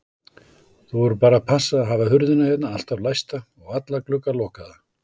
Þú verður bara að passa að hafa hurðina hérna alltaf læsta og alla glugga lokaða.